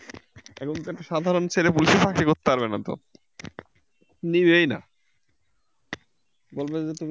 এখনকার সাধারণ ছেলে পুলে চাকরি করতে পারবে না তো, নিবেই না বলবে যে তুমি